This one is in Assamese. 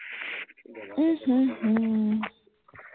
উম হম হম